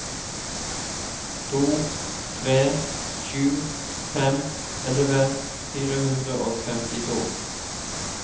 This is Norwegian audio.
to tre sju fem elleve fire hundre og femtito